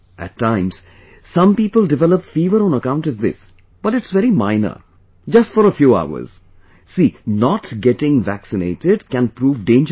At times, some people develop fever on account of this...but it's very minor; just for a few hours...See, not getting vaccinated can prove dangerous